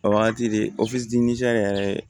O wagati de yɛrɛ